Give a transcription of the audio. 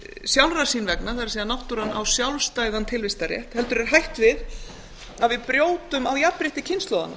sjálfrar sín vegna það er náttúran á sjálfstæðan tilvistarrétt heldur er hætt við að við brjótum á jafnrétti kynslóðanna